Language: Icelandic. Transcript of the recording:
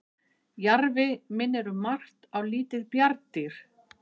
jarfi minnir um margt á lítið bjarndýr